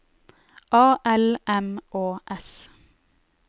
A L M Å S